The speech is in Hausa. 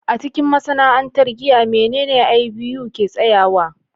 A cikin masana'antar giya, menene IBU ke tsayawa?